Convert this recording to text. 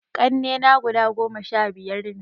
Ƙannena guda goma sha biyar ne